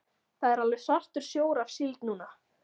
Það er alveg svartur sjór af síld núna.